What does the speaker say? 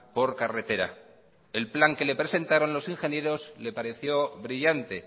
por carretera el plan que le presentaron los ingenieros le pareció brillante